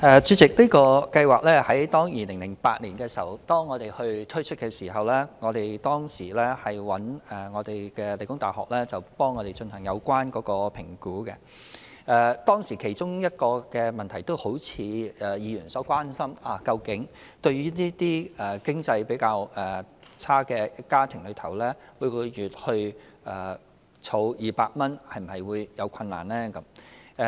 主席，在2008年推出這個計劃的時候，我們曾委託理工大學進行評估，當時的其中一個問題正是議員所關心的，究竟對於經濟較拮据的家庭，每月儲蓄200元會否有困難。